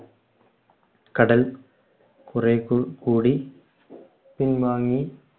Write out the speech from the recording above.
കടൽ കുറേകൂടി പിൻവാങ്ങി